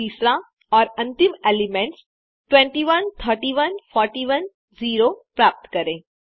और फिर तीसरा और अंतिम एलिमेंट्स 2131 41 0 प्राप्त करें